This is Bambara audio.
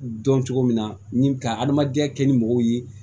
Dɔn cogo min na ni ka adamadenya kɛ ni mɔgɔw ye